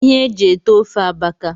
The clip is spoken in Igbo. ihe e ji ete ofe abaka